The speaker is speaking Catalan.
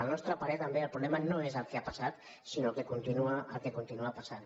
al nostre parer també el problema no és el que ha passat sinó el que continua passant